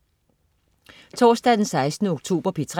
Torsdag den 16. oktober - P3: